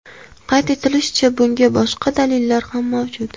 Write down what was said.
Qayd etilishicha, bunga boshqa dalillar ham mavjud.